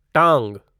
टांग